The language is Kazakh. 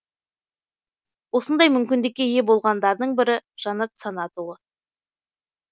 осындай мүмкіндікке ие болғандардың бірі жанат санатұлы